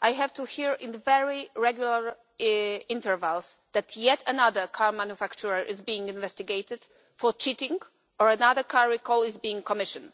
I have had to hear, at very regular intervals, that yet another car manufacturer is being investigated for cheating, or that another car recall is being commissioned.